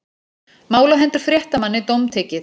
Mál á hendur fréttamanni dómtekið